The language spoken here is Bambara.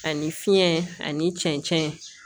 Ani fiɲɛ ani cɛncɛn